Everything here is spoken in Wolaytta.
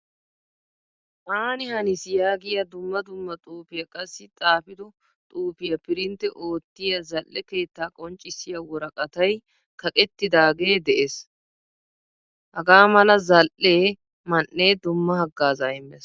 Aani haniis yaagiyaa dumma dumma xuufiyaa qassi xaafido xuufiyaa pririntte oottiyaa zal'ee keetta qonccisiya woraqqattay kaqettidage de'ees. Hagamala zal'ee man'e dumma haggaaza immees.